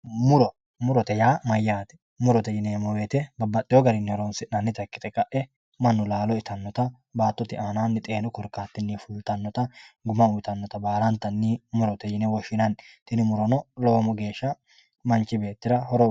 Muro murote yaa mayyaate murote yineemmo woyte babbaxxeyorira horonsi'nannita ikkite laalo uyitannota baattote aanaanni xeenu korkaatinni fultannota guma uyitannota baalantanni murote yine woshshinanni tini muro lowo geeshsha manchi beettira horo uyitanno